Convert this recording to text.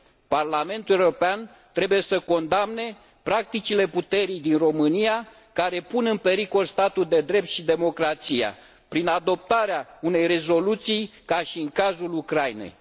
Parlamentul European trebuie să condamne practicile puterii din România, care pun în pericol statul de drept și democrația, prin adoptarea unei rezoluții ca și în cazul Ucrainei.